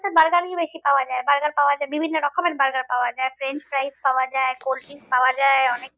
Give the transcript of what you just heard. Burger ই বেশি পাওয়া যায় burger পাওয়া যায় বিভিন্ন রকমের burger পাওয়া যায় french fries পাওয়া যায় cold drinks পাওয়া যায় অনেক